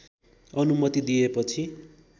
अनुमति दिएपछि